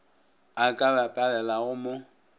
a ka ba palelago mo